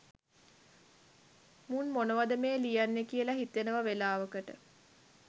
මුන් මොනවද මේ ලියන්නෙ කියල හිතෙනව වෙලාවකට.